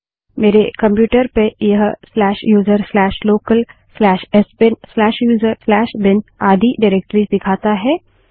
मेरे कंप्यूटर पर यह userlocalsbinuserbin आदि निर्देशिकाएँडाइरेक्टरिस दिखाता है